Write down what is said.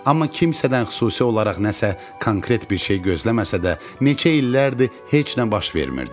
Amma kimsədən xüsusi olaraq nəsə konkret bir şey gözləməsə də, neçə illərdir heç nə baş vermirdi.